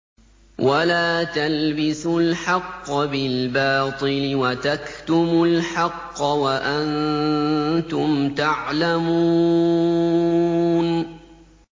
وَلَا تَلْبِسُوا الْحَقَّ بِالْبَاطِلِ وَتَكْتُمُوا الْحَقَّ وَأَنتُمْ تَعْلَمُونَ